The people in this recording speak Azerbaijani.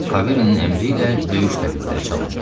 Karinin əmri ilə döyüş təbilləri çalındı.